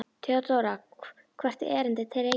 THEODÓRA: Hvert er erindið til Reykjavíkur?